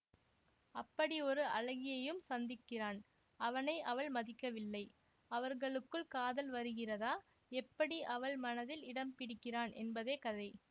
அப்படி ஒரு அழகியையும் சந்திக்கிறான் அவனை அவள் மதிக்கவில்லை அவர்களுக்குள் காதல் வருகிறதா எப்படி அவள் மனதில் இடம் பிடிக்கிறான் என்பதே கதை